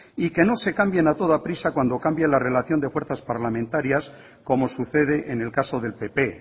y que no se cambien a toda prisa cuando cambie la relación de fuerzas parlamentarias como sucede en el caso del pp